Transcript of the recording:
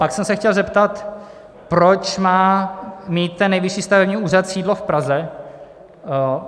Pak jsem se chtěl zeptat, proč má mít ten nejvyšší stavební úřad sídlo v Praze.